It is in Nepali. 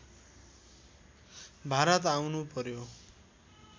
भारत आउनु पर्‍यो